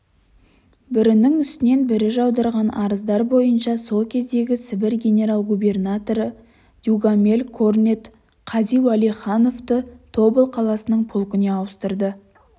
бірінің үстінен бірі жаудырған арыздар бойынша сол кездегі сібір генерал-губернаторы дюгамель корнет қази уәлихановты тобыл қаласының полкына ауыстырды